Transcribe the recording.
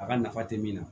A ka nafa tɛ min na